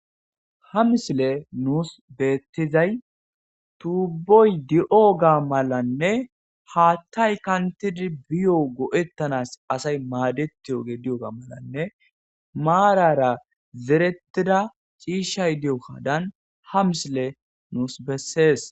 Ha misile nusi betizay tuboyi diyoga malanne hathayi kantidi biyo asayi madettanawu diyoga malanne marara zeretida ci'ishayo diyoga ha misile nusi besees